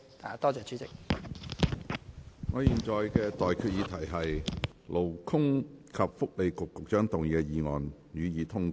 我現在向各位提出的待決議題是：勞工及福利局局長動議的議案，予以通過。